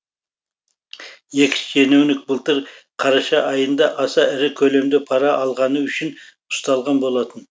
экс шенеунік былтыр қараша айында аса ірі көлемде пара алғаны үшін ұсталған болатын